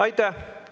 Aitäh!